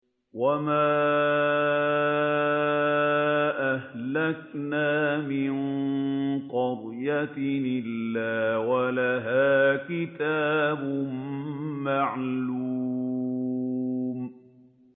وَمَا أَهْلَكْنَا مِن قَرْيَةٍ إِلَّا وَلَهَا كِتَابٌ مَّعْلُومٌ